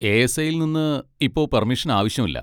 A. S. ഐയിൽ നിന്ന് ഇപ്പോ പെർമിഷൻ ആവശ്യം ഇല്ല.